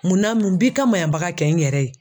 Munna mun b'i ka maɲanbaga kɛ n yɛrɛ ye?